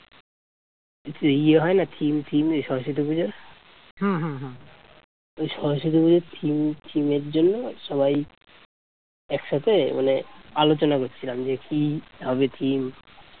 ইয়ে হয় না theme theme সরস্বতী পূজা সরস্বতী পূজার theme theme র জন্য সবাই একসাথে মানে আলোচনা করছিলাম মানে যে কি হবে theme